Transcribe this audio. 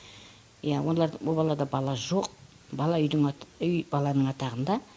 ия олар бұл балада бала жоқ бала үйдің үй баланың атағында